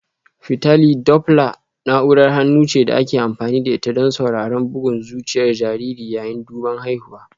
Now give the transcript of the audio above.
Fitali Dopla na'urar hannu ce da ake amfani da ita don sauraron bugun zuciyar jariri yayin duban haihuwa